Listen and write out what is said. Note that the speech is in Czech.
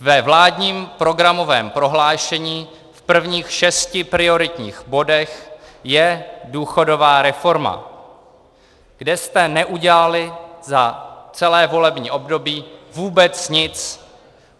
Ve vládním programovém prohlášení v prvních šesti prioritních bodech je důchodová reforma, kde jste neudělali za celé volební období vůbec nic.